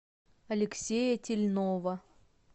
алексея тельнова